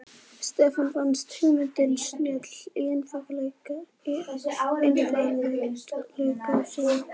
Stefáni fannst hugmyndin snjöll í einfaldleika sínum.